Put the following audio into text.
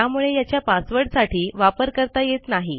त्यामुळे याचा पासवर्डसाठी वापर करता येत नाही